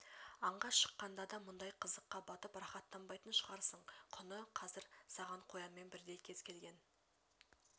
аңға шыққанда да мұндай қызыққа батып рахаттанбайтын шығарсың құны қазір саған қоянмен бірдей кез келгенн